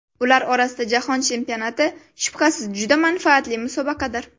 Ular orasida jahon chempionati shubhasiz juda manfaatli musobaqadir.